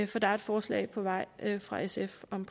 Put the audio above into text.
for der er et forslag på vej fra sf om